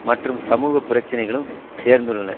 மற்ற சமூக பிரச்சினைகளும் சேர்ந்துள்ளன